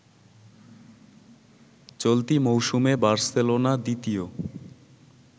চলতি মৌসুমে বার্সেলোনা দ্বিতীয়